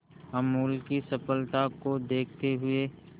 अमूल की सफलता को देखते हुए